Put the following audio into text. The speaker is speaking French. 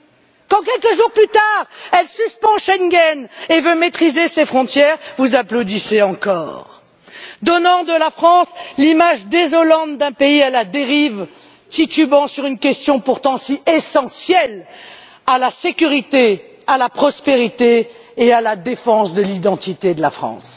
Quand, quelques jours plus tard, elle suspend Schengen et veut maîtriser ses frontières, vous applaudissez encore, donnant de la France l'image désolante d'un pays à la dérive, titubant sur une question pourtant si essentielle à la sécurité, à la prospérité et à la défense de l'identité de la France.